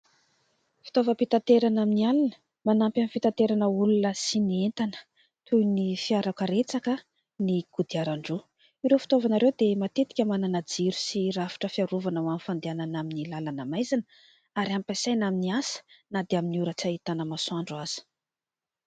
Fitaovam-pitanterana amin'ny alina manampy amin'ny fitanterana olona sy ny entana, toy ny fiarakaretsaka, ny kodiarandroa. Ireo fitaovana ireo dia matetika manana jiro sy rafitra fiarovana ho an'ny fandehanana amin'ny lalana maizina, ary ampiasaina amin'ny asa na dia amin'ny ora tsy ahitana masoandro aza.